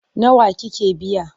Nawa kika biya?